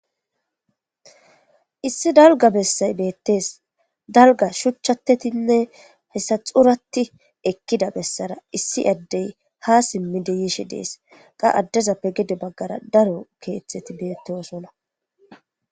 issi dalga bessay beettees dalga shuchchatedinne hessa xuratti ekkida bessara issi addey ha simmide yishe dees qa addezappe gede baggara daro keeththeti beettosona